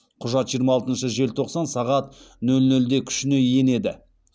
құжат жиырма алтыншы желтоқсан сағат нөл нөлде күшіне енеді